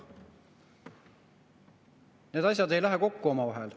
Need asjad ei lähe kokku omavahel.